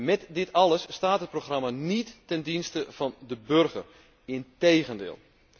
Met dit alles staat dit programma niet ten dienste van de burger, integendeel.